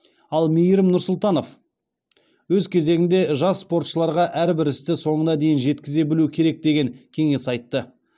ал мейірім нұрсұлтанов өз кезегінде жас спортшыларға әрбір істі соңына дейін жеткізе білу керек деген кеңес айтты